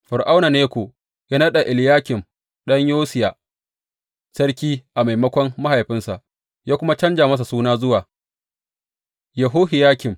Fir’auna Neko ya naɗa Eliyakim ɗan Yosiya sarki a maimakon mahaifinsa, ya kuma canja masa suna zuwa Yehohiyakim.